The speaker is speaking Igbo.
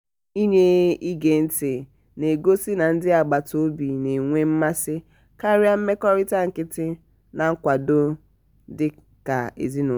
inye ige-nti na-egosi na ndi agbata obi na-enwe mmasi karia mmekọrita nkịtị na nkwado dị ka ezinụlọ.